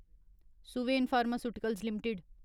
Suven pharmaceuticals limited